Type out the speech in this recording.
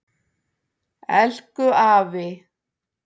Elku afi.